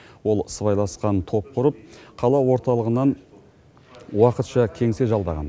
ол сыбайласқан топ құрып қала орталығынан уақытша кеңсе жалдаған